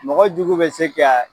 Mɔgɔ jugu bɛ se ka